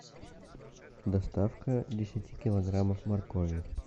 доставка десяти килограммов моркови